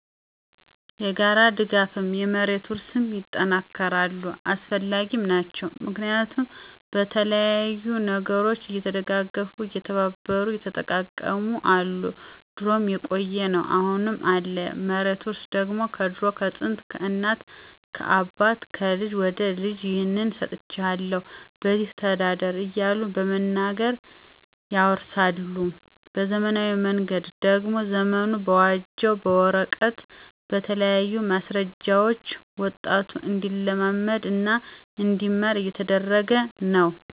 የጋራ ድጋፍም፣ የመሬት ውርስም ይጠናከራሉ አሰፈላጊም ናቸው። ምክንያቱም በተለያዩ ነገሮች እየተደጋገፉ፣ እየተባበሩ፣ እየተጠቃቀሙ አሉ ድሮም የቆየ ነው አሁንም አለ። የመሬት ውርስ ደግሞ ከድሮ ከጥንት፣ ከእናት ከአባት፣ ከልጅ ወደ ልጅ ይህን ሰጥቸሀለሁ በዚች ተዳደር እያሉ በመናገር ያወርሳሉ። በዘመናዊ መንገድ ደግሞ ዘመኑ በዋጀው በወረቀት በተለያዩ ማሰረጃዎች ወጣቱ እንዲለምድ እና እንዲማር እየተደረገ ነው።